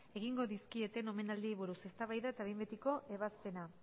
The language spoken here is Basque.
egingo dizkieten omenaldiei buruz eztabaida eta behin betiko ebazpena